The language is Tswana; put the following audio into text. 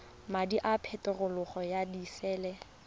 madi a peterolo ya disele